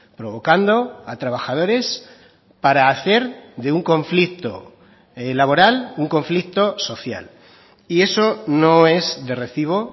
provocando a trabajadores para hacer de un conflicto laboral un conflicto social y eso no es de recibo